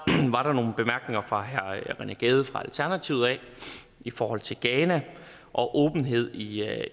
var der nogle bemærkninger fra herre rené gade fra alternativet i forhold til ghana og åbenhed i